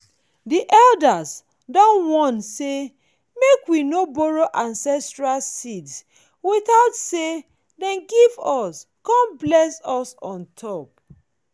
the elders don warn say make we no borrow ancestral seeds without say them give us con bless us on top